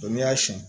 n'i y'a siɲɛ